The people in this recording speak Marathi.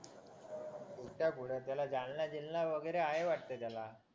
नुसत्या कुठं तिथं जालना जिलना वगैरे आहे वाटत त्याला